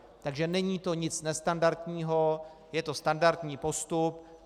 Takže není to nic nestandardního, je to standardní postup.